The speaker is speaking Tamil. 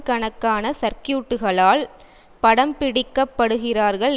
கணக்கான சர்க்கியூட்டுகளால் படம்பிடிக்கப்படுகிறார்கள்